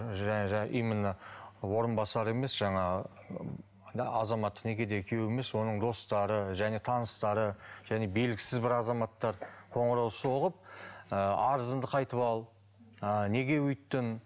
именно орынбасар емес жаңағы азаматтық некедегі күйеуі емес оның достары және таныстары және белгісіз бір азаматтар қоңырау соғып ы арызыңды қайтып ал ы неге өйттің